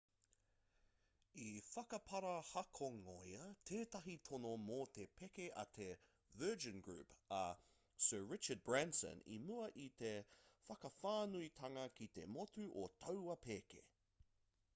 i whakaparahakongia tētahi tono mō te pēke a te virgin group a sir richard branson i mua i te whakawhānuitanga ki te motu o taua pēke